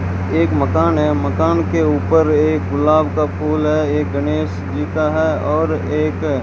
एक मकान है मकान के ऊपर एक गुलाब का फूल है एक गणेशजी का है और